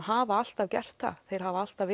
hafa alltaf gert það þeir hafa alltaf